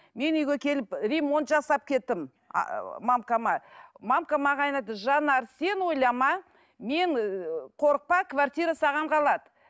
мен үйге келіп ремонт жасап кеттім маған айтады жанар сен ойлама мен ы қорықпа квартира саған қалады